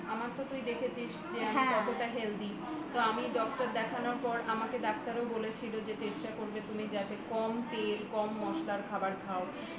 আমার তো তুই দেখেছিস যে কতটা healthy তো আমি doctor দেখানোর পর আমাকে ডাক্তারও বলেছিল যে চেষ্টা করবে তুমি যাতে কম তেল কম মশলার খাবার খাও সবসময় তো সম্ভব না সবসময় সম্ভব হয়ে ওঠে না কিন্তু খেতে তো হবেই